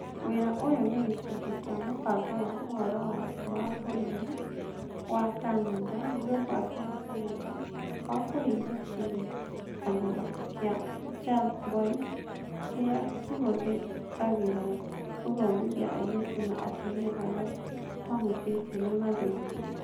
Wĩra ũyũ nĩ gĩcunjĩ kĩa mũbango wa Ũhoro wa Thĩ wa bũrũri wa Kanada (Global Affairs Canada) wa kũhingia kĩrĩkanĩro kĩa Charlevoix, kĩrĩa kĩhũthagĩrwo gũthomithia airĩtu na atumia arĩa mahutĩtio nĩ mathĩna.